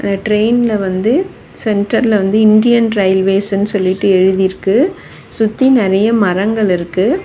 ட்ரெயின்ல வந்து சென்டர்ல வந்து இந்தியன் ரயில்வேஸ்னு சொல்லிட்டு எழுதிருக்கு சுத்தி நெறைய மரங்கள் இருக்கு.